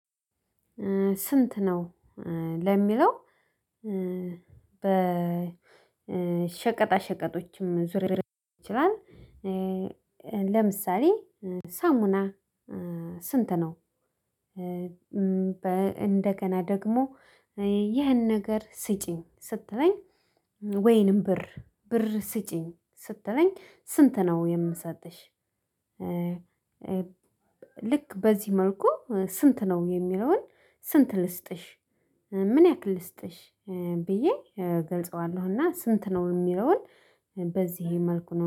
ስንት ነው? ለሚለው በሸቀጣ ሸቀጦችም ዙርዝር ይችላል። ለምሳሌ ሳሙና ስንት ነው? እንደገና ደግሞ ይህን ነገር ስጭኝ ስትለኝ ወይንም ብር ብር ስጪኝ ስትለኝ ስንት ነው የምሰጠሽ? ልክ በዚህ መልኩ ስንት ነው የሚለውን ስንት ልስጥሽ? ምን ያክል ልስጥሽ? ብዬ እገልጸዋለሁ። እና ስንት ነው የሚለውን በዚህ መልኩ ነው